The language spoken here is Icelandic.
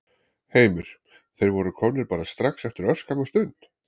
Heimir: Þeir voru komnir bara strax eftir örskamma stund?